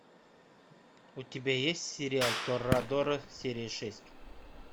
у тебя есть сериал торадора серия шесть